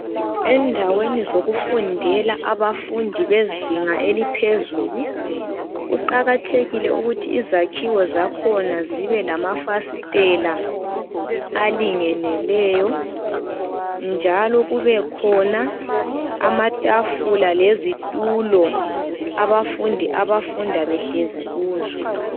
Endaweni zokufundela abafundi bezinga eliphezulu. Kuqakathekile ukuthi izakhiwo zakhona zibe lamafasitela alingeneleyo, njalo, kubekhona amatafula lezitulo, abafundi, abafunda behlezi kuzo.